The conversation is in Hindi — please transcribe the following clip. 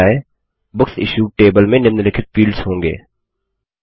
जब बन जाय बुक्स इश्यूड टेबल में निम्नलिखित फील्ड्स होंगे